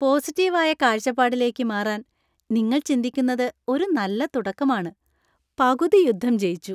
Positive ആയ കാഴ്ചപ്പാടിലേക്ക് മാറാൻ നിങ്ങൾ ചിന്തിക്കുന്നത് ഒരു നല്ല തുടക്കമാണ്. പകുതി യുദ്ധം ജയിച്ചു.